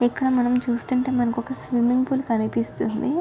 ఇక్కడ మనం చూస్తున్నట్టు అయితేఇక్కడ స్విమింగ్ పూల్ కనిపిస్తుంది.